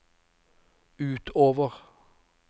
utover